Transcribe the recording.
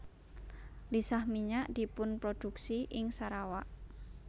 Lisah minyak dipunprodhuksi ing Sarawak